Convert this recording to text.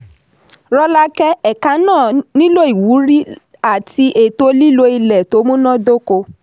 rọ́lákẹ́: ẹ̀ka náà nílò ìwúrí àti ètò lílo ilẹ̀ tó múná dóko.